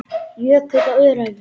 Jökull á Öræfum.